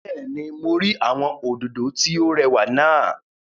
Bẹ́ẹ̀ni, mo rí àwọn òdòdó tí ó rẹwà náà